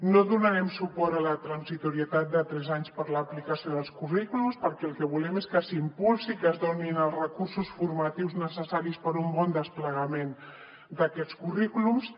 no donarem suport a la transitorietat de tres anys per a l’aplicació dels currículums perquè el que volem és que s’impulsi i que es donin els recursos formatius necessaris per a un bon desplegament d’aquests currículums